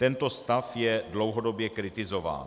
Tento stav je dlouhodobě kritizován.